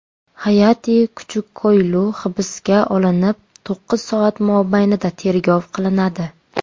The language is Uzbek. Hayati Kuchukkoylu hibsga olinib, to‘qqiz soat mobaynida tergov qilinadi.